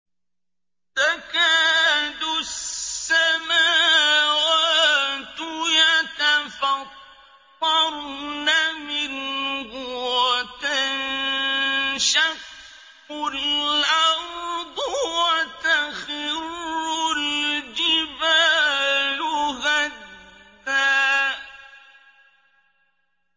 تَكَادُ السَّمَاوَاتُ يَتَفَطَّرْنَ مِنْهُ وَتَنشَقُّ الْأَرْضُ وَتَخِرُّ الْجِبَالُ هَدًّا